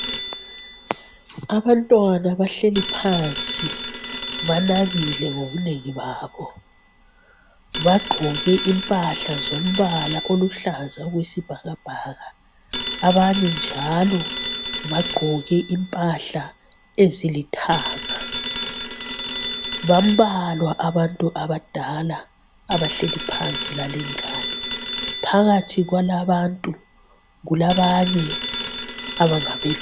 Abantwana bahleli phansi banabile ngobunengi babo. Bagqoke impahla zombala oluhlaza okwesibhakabhaka, abanye njalo bagqoke impahla ezilithanga. Bambalwa abantu abadala abahleli phansi lalengane. Phakathi kwalabantu, kulabanye abangabelungu.